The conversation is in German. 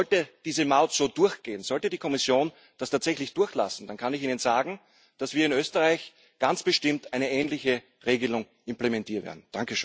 Sollte diese Maut so durchgehen, sollte die Kommission das tatsächlich durchlassen, dann kann ich Ihnen sagen, dass wir in Österreich ganz bestimmt eine ähnliche Regelung implementieren werden.